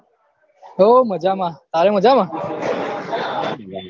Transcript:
હો મજામાં તારે મજામાં